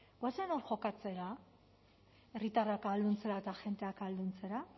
goazen hor jokatzera herritarrak ahalduntzera eta agenteak ahalduntzera